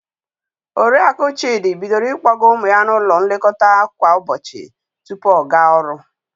Oriaku Chịdị bidoro ịkpọga ụmụ ya n'ụlọ nlekọta nke ụbọchi tupu ọ gaa ọrụ.